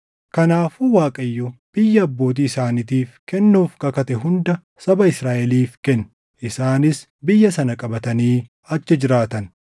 Kanaafuu Waaqayyo biyya abbootii isaaniitiif kennuuf kakate hunda saba Israaʼeliif kenne; isaanis biyya sana qabatanii achi jiraatan.